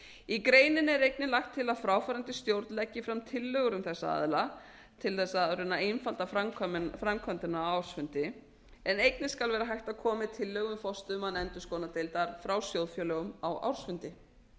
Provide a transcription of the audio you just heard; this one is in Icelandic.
í greininni er einnig lagt til að fráfarandi stjórn leggi fram tillögur um þessa aðila til þess að reyna að einfalda framkvæmdina á ársfundi en einnig skal vera hægt að koma með tillögu um forstöðumann endurskoðunardeildar frá sjóðfélögum á ársfundi